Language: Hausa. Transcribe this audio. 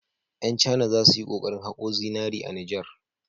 Ƴan cana za su yi kokarin haƙo zinari a Nijar.